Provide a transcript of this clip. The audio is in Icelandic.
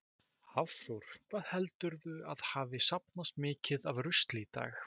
Hafþór: Hvað heldurðu að hafi safnast mikið af rusli í dag?